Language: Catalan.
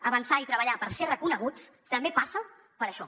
avançar i treballar per ser reconeguts també passa per això